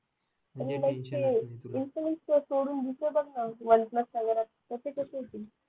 सोडून दुसर बघ ना वन प्लस वगैरे चा तर ते कसे